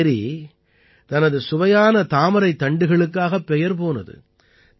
இந்த ஏரி தனது சுவையான தாமரைத் தண்டுகளுக்காகப் பெயர் போனது